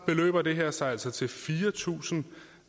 beløber det her sig altså til fire tusind